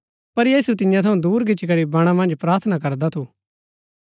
पर यीशु तियां थऊँ दूर गिच्ची करी बणा मन्ज प्रार्थना करदा थू